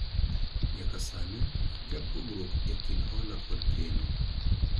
nyaka sani akia pogruok e kind hola kod keno